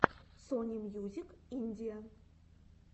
сони мьюзик индия